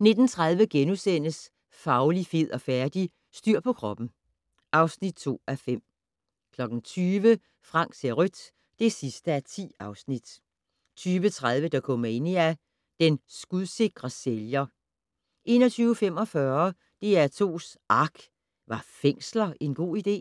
19:30: Fauli, fed og færdig? - Styr på kroppen (2:5)* 20:00: Frank ser rødt (10:10) 20:30: Dokumania: Den skudsikre sælger 21:45: DR2's ARK - Var fængsler en god idé?